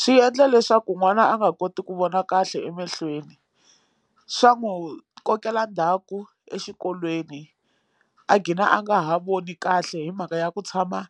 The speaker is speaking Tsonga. Swi endla leswaku n'wana a nga koti ku vona kahle emehlweni swa n'wi kokela ndhaku exikolweni a gina a nga ha voni kahle hi mhaka ya ku tshama